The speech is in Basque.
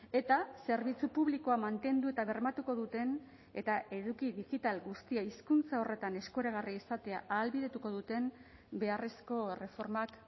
eta zerbitzu publikoa mantendu eta bermatuko duten eta eduki digital guztia hizkuntza horretan eskuragarri izatea ahalbidetuko duten beharrezko erreformak